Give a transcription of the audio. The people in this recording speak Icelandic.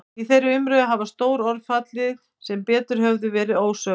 Í þeirri umræðu hafa stór orð fallið sem betur hefðu verið ósögð.